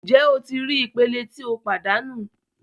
Njẹ o ti rii ipele ti o padanu